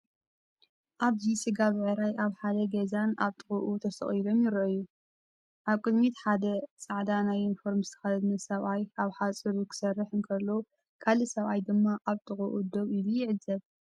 ኣብዚ ስጋ ብዕራይ ኣብ ሓደ ገዛን ኣብ ጥቓኡን ተሰቒሎም ይረኣዩ። ኣብ ቅድሚት ሓደ ጻዕዳ ናይ ዩኒፎርም ዝተኸድነ ሰብኣይ ኣብ ሓጹር ክሰርሕ እንከሎ፡ ካልእ ሰብኣይ ድማ ኣብ ጥቓኡ ደው ኢሉ ይዕዘብ።